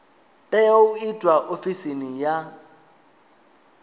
tea u itwa ofisini ya